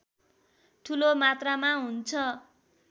ठूलो मात्रामा हुन्छ